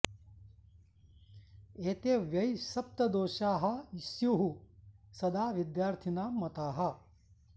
एते वै सप्त दोषाः स्युः सदा विद्यार्थिनां मताः